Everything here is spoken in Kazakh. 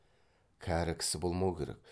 кәрі кісі болмау керек